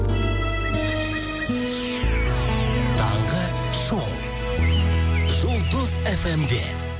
таңғы шоу жұлдыз эф эм де